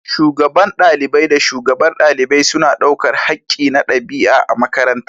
Shugaban ɗalibai da shugabar ɗalibai suna ɗaukar haƙƙi na ɗabi’a a makarantar.